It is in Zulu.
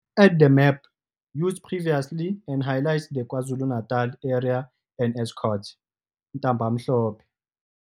Add the map used previously and highlight the KwaZulu-Natal area and Estcourt, Ntabamhlope,